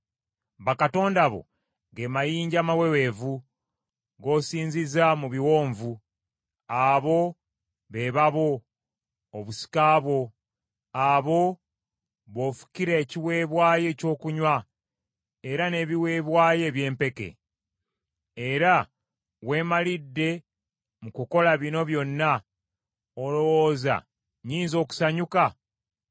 Bakatonda bo ge mayinja amaweweevu gosinziza mu biwonvu, abo be babo, obusika bwo; abo b’ofukira ekiweebwayo ekyokunywa era n’ebiweebwayo eby’empeke. Nga weemalidde mu kukola bino byonna, olowooza nnyinza okusanyuka?